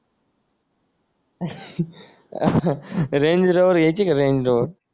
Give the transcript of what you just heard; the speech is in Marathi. रेंज झिरोवर घ्यायची का रेंज झिरोवर